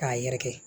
K'a yɛrɛkɛ